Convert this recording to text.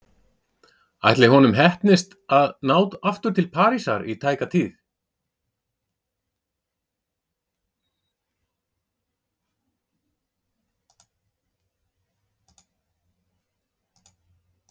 Ætli honum heppnist að ná aftur til Parísar í tæka tíð?